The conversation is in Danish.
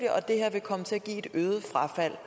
det her vil komme til at give et øget frafald